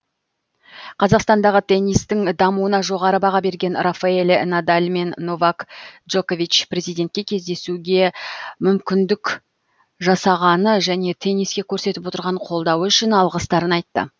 қазақстандағы теннистің дамуына жоғары баға берген рафаэль надаль мен новак джокович президентке кездесуге мүмкіндік жасағаны және тенниске көрсетіп отырған қолдауы үшін алғыстарын айтты